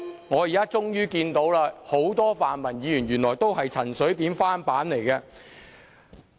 我現在終於看到，原來很多泛民主派議員都是陳水扁的翻版。